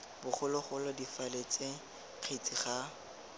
bogologolo difaele ts kgetsi ga